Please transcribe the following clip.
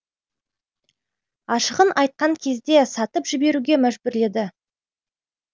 ашығын айтқан кезде сатып жіберуге мәжбүрледі